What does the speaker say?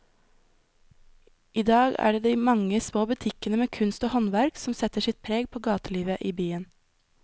I dag er det de mange små butikkene med kunst og håndverk som setter sitt preg på gatelivet i byen.